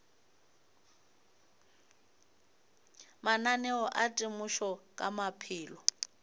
mananeo a temošo ka maphelo